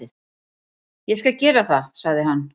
"""Ég skal gera það, sagði hann."""